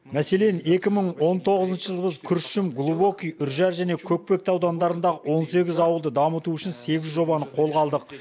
мәселен екі мың он тоғызыншы жылғы күршім глубокий үржар және көкпекті аудандарында он сегіз ауылды дамыту үшін сегіз жобаны қолға алдық